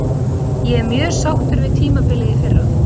Ég er mjög sáttur við tímabilið í fyrra.